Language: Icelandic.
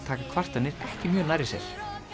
taka kvartanir ekki mjög nærri sér